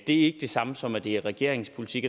ikke det samme som at det er regeringens politik